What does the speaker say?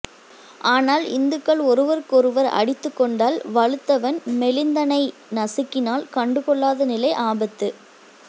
ஆனால் இந்துக்கள் ஒருவருக்கொருவா் அடித்துக் கொண்டால் வலுத்தவன் மெலிந்தனை நசுக்கினால் கண்டுகொள்ளாத நிலை ஆபத்து